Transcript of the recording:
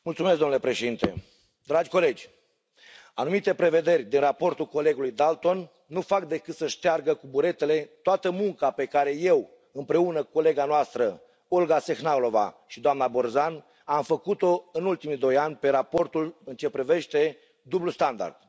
Domnule președinte, dragi colegi, anumite prevederi din raportul colegului Dalton nu fac decât să șteargă cu buretele toată munca pe care eu, împreună cu colega noastră, Olga Sehnalová și doamna Borzan, am făcut o în ultimii doi ani pe raportul în ce privește dublul standard.